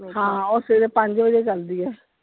ਹਾਂ ਉਹ ਸਵੇਰੇ ਪੰਜ ਵਜੇ ਚਲਦੀ ਹੈ।